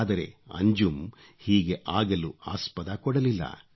ಆದರೆ ಅಂಜುಮ್ ಹೀಗೆ ಆಗಲು ಆಸ್ಪದ ಕೊಡಲಿಲ್ಲ